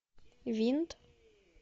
винт